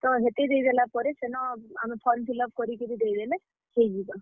ତ, ହେତେ ଦେଇଦେଲା ପରେ ସେନ ଆମେ form fillup କରିକିରି ଦେଇ ଦେଲେ, ହେଇଯିବା।